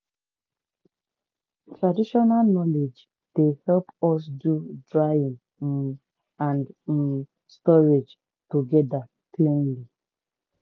traditional knowledge dey help us do drying um and um storage together cleanly.